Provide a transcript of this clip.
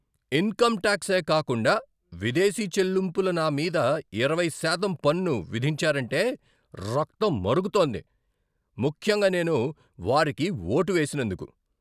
Income టాక్సే కాకుండా విదేశీ చెల్లింపుల నా మీద ఇరవై శాతం పన్ను విధించారంటే రక్తం మరుగుతోంది, ముఖ్యంగా నేను వారికి ఓటు వేసినందుకు.